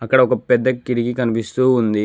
ఇక్కడ ఒక పెద్ద కిటికీ కనిపిస్తూ ఉంది.